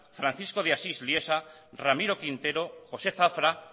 francisco de asís liesa ramiro quintero josé zafra